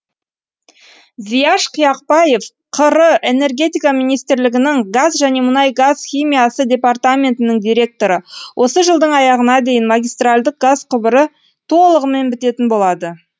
зияш қияқбаев қр энергетика министрлігінің газ және мұнай газ химиясы департаментінің директоры осы жылдың аяғына дейін магистральдік газ құбыры толығымен бітетін болады